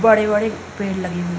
बड़े-बड़े पेड़ लगे हुए --